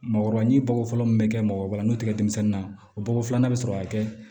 Mɔgɔ ni bako fɔlɔ mun be kɛ mɔgɔkɔrɔba n'o tigɛ denmisɛnninna o bɔgɔ filanan be sɔrɔ ka kɛ